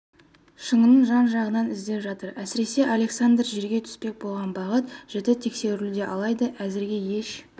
шыңының жан-жағынан іздеп жатыр әсіресе александр жерге түспек болған бағыт жіті тексерілуде алайда әзірге еш